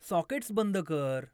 sockets बंद कर